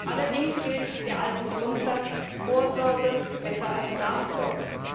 Allerdings gilt der alte Grundsatz Vorsorge ist besser als Nachsorge!